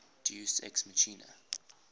deus ex machina